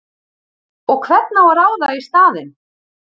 Og hvern á að ráða í staðinn?!